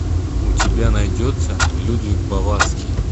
у тебя найдется людвиг баварский